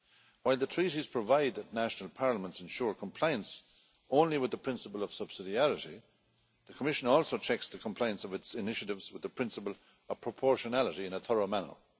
While the Treaties provide that national parliaments ensure compliance only with the principle of subsidiarity, the Commission also checks to complaints of its initiatives with the principle of proportionality in a thorough manner.